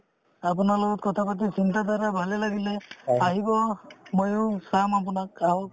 আপোনাৰ লগত কথা পাতি চিন্তাধাৰা ভালে লাগিলে আহিব ময়ো চাম আপোনাক আহক